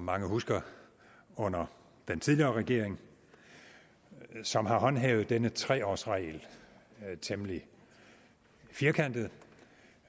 mange husker under den tidligere regering som har håndhævet denne tre års regel temmelig firkantet